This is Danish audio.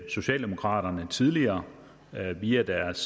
socialdemokraterne tidligere via deres